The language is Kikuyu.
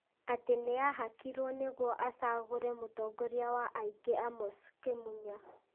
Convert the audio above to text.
atĩ nĩ ahakirwo nĩguo acagũrĩ mũtongoria wa aingĩ Amos Kĩmunya.